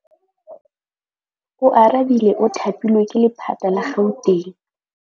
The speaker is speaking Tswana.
Oarabile o thapilwe ke lephata la Gauteng.